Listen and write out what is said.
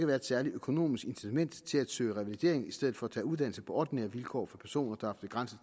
være et særligt økonomisk incitament til at søge revalidering i stedet for at tage uddannelse på ordinære vilkår for personer der har begrænset